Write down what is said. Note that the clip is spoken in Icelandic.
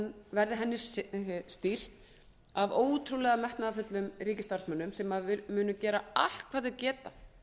verði henni stýrt af ótrúlega metnaðarfullum ríkisstarfsmönnum sem munu gera allt hvað þeir geta